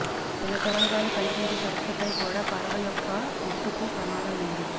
చిన్న తరంగాలు కనిపించే సరస్సుపై కూడా పడవ యొక్క పొట్టుకు ప్రమాదం ఉంది